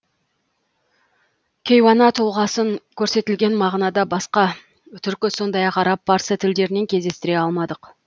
кейуана тұлғасын көрсетілген мағынада басқа түркі сондай ақ араб парсы тілдерінен кездестіре алмадық